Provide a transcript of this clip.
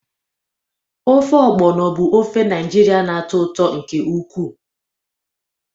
Ofe Ogbono bụ ofe Naijiria na-atọ ụtọ nke ukwuu.